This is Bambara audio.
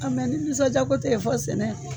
mɛ ni nisɔndiya ko tɛ yen fɔ sɛnɛ